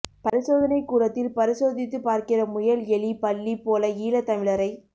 பரிசோதணைக் கூடத்தில் பரிசோதித்து பார்க்கிற முயல் எலி பல்லி போல ஈழத்தமிழரை